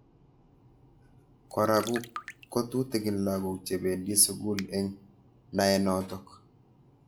Kora kotutikin lakok chebendi sukul eng naenotok.